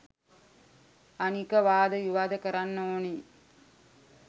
අනික වාද විවාද කරන්න ඕනේ